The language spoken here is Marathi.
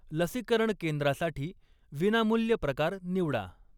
लसीकरण केंद्रासाठी विनामूल्य प्रकार निवडा.